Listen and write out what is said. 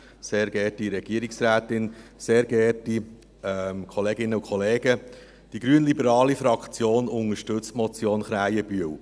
Die grünliberale Fraktion unterstützt die Motion Krähenbühl.